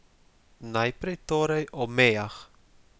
Najprej, torej, o mejah.